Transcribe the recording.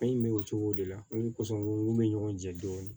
An ye bɛ o cogo de la ni kɔsanw bɛ ɲɔgɔn cɛ dɔɔnin